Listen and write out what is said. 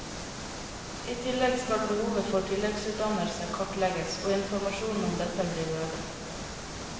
I tillegg skal behovet for tilleggsutdannelse kartlegges og informasjonen om dette bli bedre.